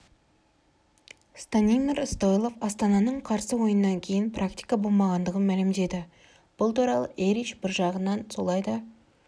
станимир стойлов астананың қарсы ойыннан кейін практика болмағандығын мәлімдеді бұл туралы эрич бір жағынан солай да